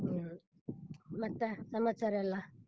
ಹ್ಮ್, ಮತ್ತೆ ಸಮಾಚಾರ ಎಲ್ಲಾ?